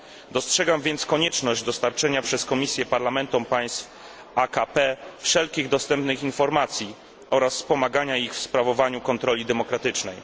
Dostrzegam więc konieczność dostarczenia przez Komisję parlamentom państw AKP wszelkich dostępnych informacji oraz wspomagania ich w sprawowaniu kontroli demokratycznej.